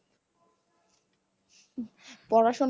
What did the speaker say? পড়াশুনার